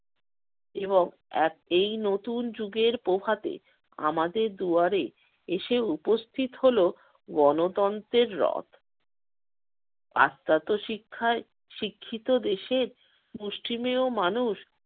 এবং একেই নতুন যুগের প্রভাতে আমাদের দুয়ারে এসে উপস্থিত হলো গণতন্ত্রের রথ। পাশ্চাত্য শিক্ষায় শিক্ষিত দেশের মুষ্টিমেয় মানুষ